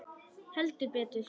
Heldur betur!